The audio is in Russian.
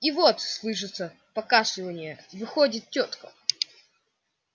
и вот слышится покашливание выходит тётка